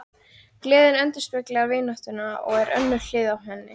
Gleðin endurspeglar vináttuna og er önnur hlið á henni.